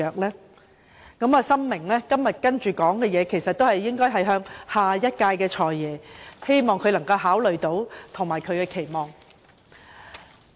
所以，我深明以下發言的對象應為下一任"財爺"，希望他到時能考慮我將要提出的種種期望。